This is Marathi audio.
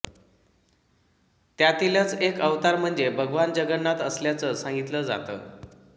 त्यातीलच एक अवतार म्हणजे भगवान जगन्नाथ असल्याचं सांगितलं जातं